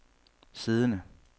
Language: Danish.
siddende